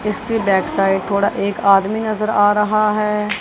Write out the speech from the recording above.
इसपे back side थोड़ा एक आदमी नजर आ रहा है।